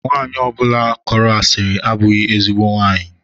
Nwanyi ọbụla kọrọ asiri abụghị ezigbo nwaanyị.